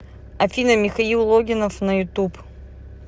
афина михаил логинов на ютуб